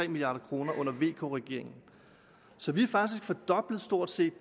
milliard kroner under vk regeringen så vi har faktisk stort set